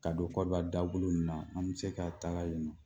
Ka don Côte d'Ivoire dagolo nin na, an bɛ se ka taga yen nɔ.